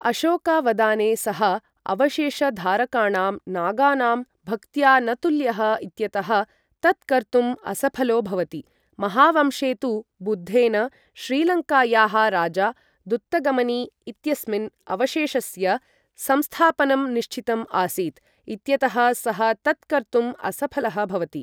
अशोकावदाने सः अवशेषधारकाणां नागानां भक्त्या न तुल्यः इत्यतः तत् कर्तुं असफलो भवति, महावंशे तु, बुद्धेन श्रीलङ्कायाः राजा दुत्तगमनि इत्यस्मिन् अवशेषस्य संस्थापनं निश्चितम् आसीत् इत्यतः सः तत् कर्तुं असफलः भवति।